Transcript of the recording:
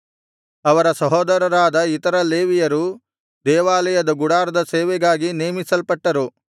ಅವರ ಸಹೋದರರಾದ ಇತರ ಲೇವಿಯರು ದೇವಾಲಯದ ಗುಡಾರದ ಸೇವೆಗಾಗಿ ನೇಮಿಸಲ್ಪಟ್ಟರು